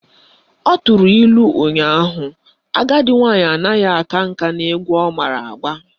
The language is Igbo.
Ọ tụrụ ilu ụnyaahụ " Agadi nwaanyị anaghị aka nka n'egwu ọ mara agba"